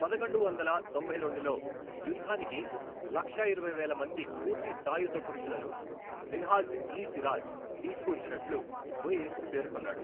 పదకొండు వందల తొంభై రెండులో యుద్ధానికి లక్షా ఇరవై వేల మంది పూర్తి సాయుధ పురుషులను మిన్హాజ్ ఇ సిరాజ్ తీసుకువచ్చినట్లు ముయిజ్ పేర్కొన్నాడు.